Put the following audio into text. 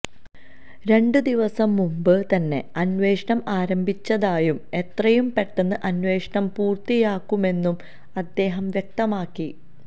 രണ്ടു ദിവസം മുമ്പ് തന്നെ അന്വേഷണം ആരംഭിച്ചതായും എത്രയും പെട്ടെന്ന് അന്വേഷണം പൂര്ത്തിയാക്കുമെന്നും അദ്ദേഹം വ്യക്തമാക്കി